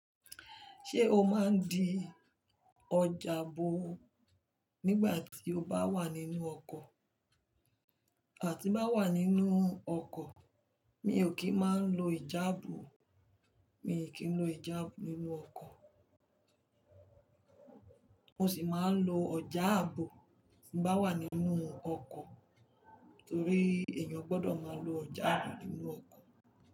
Ṣé o máa ń di ọjààbò nígbà tí o bá wà nínú ọkọ̀? Tí ń bá wà nínú ọkọ̀, mi ò kí máa ń lo ìjààbò, mi ò kí ń lo ìjààbò nínú ọkọ̀. Mo sì máa ń lo ọjààbò tí bá wà nínú ọkọ̀ torí èèyàn gbọdọ̀ máa lo ọjààbò nínú ọkọ̀